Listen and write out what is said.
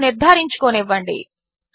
నన్ను నిర్ధారించుకోనివ్వండి